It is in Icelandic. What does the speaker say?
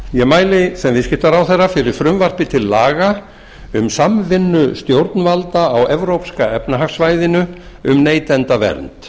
ég mæli sem viðskiptaráðherra fyrir frumvarpi til laga um samvinnu stjórnvalda á evrópska efnahagssvæðinu um neytendavernd